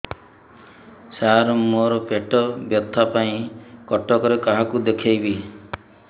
ସାର ମୋ ର ପେଟ ବ୍ୟଥା ପାଇଁ କଟକରେ କାହାକୁ ଦେଖେଇବି